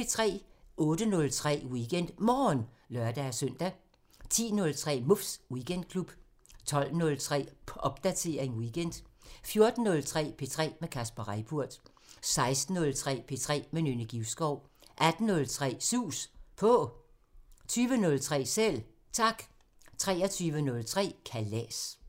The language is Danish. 08:03: WeekendMorgen (lør-søn) 10:03: Muffs Weekendklub 12:03: Popdatering weekend 14:03: P3 med Kasper Reippurt 16:03: P3 med Nynne Givskov 18:03: Sus På 20:03: Selv Tak 23:03: Kalas